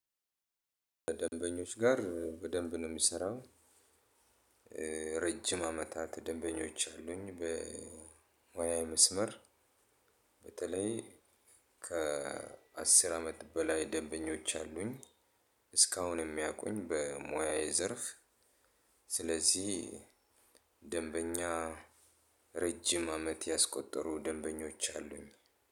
ደንበኞች ጋር በደንብ ነው የሚሰራው። ረጅም አመታት ደንበኞች አሉኝ። በሞያ መስመር በተለይ ከአስር አመት በላይ ደበኞች አሉኝ። እስካሁን የሚያቁኝ በሞያዬ ዘርፍ። ስለዚህ ደንበኛ ረጅም አመት ያስቆጠሩ ደንበኞች አሉኝ።